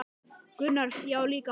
Gunnar: Já líka hann